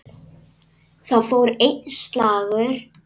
Þar fór einn slagur.